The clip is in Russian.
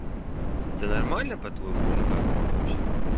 это нормально по-твоему или как оно вообще